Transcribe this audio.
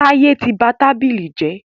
Táyẹ́ tí ba tábìlì jẹ́.